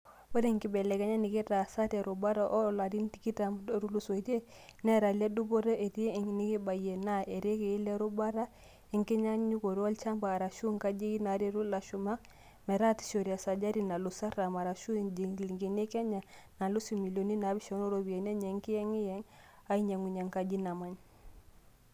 Ore nkibelekenyat nekitaasa terubata too larin tikitam ootulusoitia netaa le dupoto etii enekibayia naa irekai lerubata enginyangunoto olchamba arashu nkajijik naretu lashumak metaasishore esajati nalus artam arashu injilingini e Kenya naalus imilioni naapishana ooropiyiani enye enkiyengiyeng ainyangunyia enkaji namany.